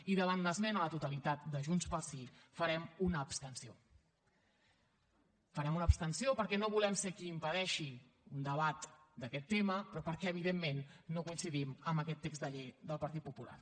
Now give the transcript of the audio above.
i davant l’esmena a la totalitat de junts pel sí farem una abstenció farem una abstenció perquè no volem ser qui impedeixi un debat d’aquest tema però perquè evidentment no coincidim amb aquest text de llei del partit popular